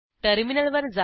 टर्मिनलवर जा